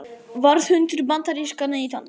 Varðhundur bandarískra neytenda